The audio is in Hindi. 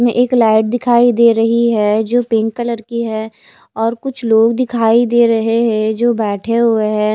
में एक लाइट दिखाई दे रही है जो पिंक कलर के है और कुछ लोग दिखाई दे रहे है जो बेठे हुए है।